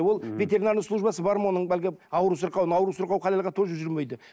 ол ветеринарный службасы бар ма оның әлгі ауру сырқауын ауру сырқау халалға тоже жүрмейді